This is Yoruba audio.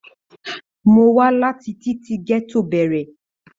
Mo wà láti titi gẹto bẹ̀rẹ̀.